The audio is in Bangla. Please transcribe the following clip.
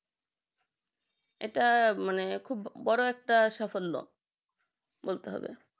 এটা মানে খুব বড় একটা সাফল্য বলতে হবে